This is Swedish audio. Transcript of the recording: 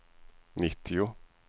nittio